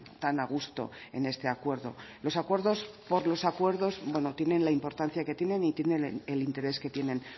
tan a gusto en este acuerdo los acuerdos por los acuerdos bueno tienen la importancia que tienen y tienen el interés que tienen